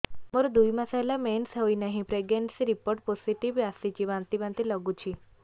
ମୋର ଦୁଇ ମାସ ହେଲା ମେନ୍ସେସ ହୋଇନାହିଁ ପ୍ରେଗନେନସି ରିପୋର୍ଟ ପୋସିଟିଭ ଆସିଛି ବାନ୍ତି ବାନ୍ତି ଲଗୁଛି